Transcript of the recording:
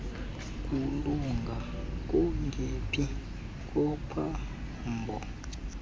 kulunga kungephi kophambo